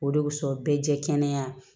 O de wusu bɛɛ jɛkɛnɛ